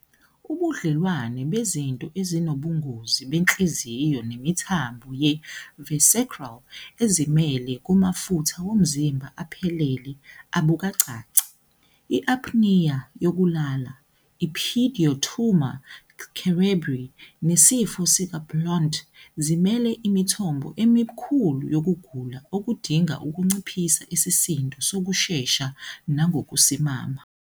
Ubudlelwano bezinto ezinobungozi benhliziyo nemithambo ye-visceral ezimele kumafutha womzimba aphelele abukacaci. I-apnea yokulala, i- pseudotumor cerebri, nesifo sikaBlount zimele imithombo emikhulu yokugula okudinga ukunciphisa isisindo ngokushesha nangokusimama.